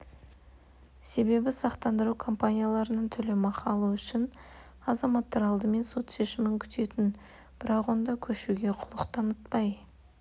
себебі сақтандыру компанияларынан төлемақы алу үшін азаматтар алдымен сот шешімін күтетін бірақ онда көшуге құлық танытпай